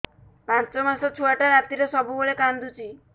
ପାଞ୍ଚ ମାସ ଛୁଆଟା ରାତିରେ ସବୁବେଳେ କାନ୍ଦୁଚି